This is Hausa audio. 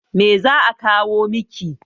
Me za'a kawo miki.